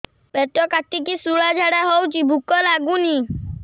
ପେଟ କାଟିକି ଶୂଳା ଝାଡ଼ା ହଉଚି ଭୁକ ଲାଗୁନି